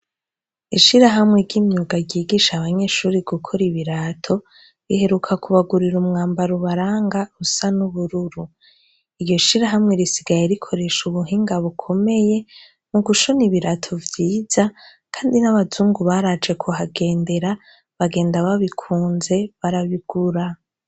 Ishirahamwe ry’imyuga ryigisha abanyeshure gukora ibirato iheruka kubagurira, umwambaro ubaranga usa n’ubururu. Iryo shirahwe risigaye rishoresha ubuhinga bukomeye mu gushona ibirato vyiza kandi n’abazungu baraje kubagendera bagenda babikunze barabigura.